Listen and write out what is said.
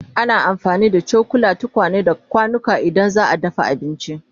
Ana amfani da cokula, tukwane, da kwanuka idan za'a dafa abinci